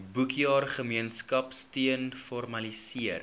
boekjaar gemeenskapsteun formaliseer